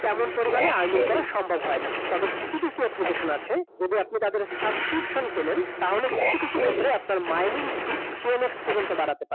তেমন পরিমাণে earning করা সম্ভব হয় না । তবে কিছু কিছু application আছে, যদি আপনি তাদের subscription কিনেন, তাহলে কিছু কিছু ক্ষেত্রে আপনার mining speed ten x পর্যন্ত বাড়াতে পারেন ।